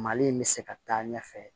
Mali in bɛ se ka taa ɲɛfɛ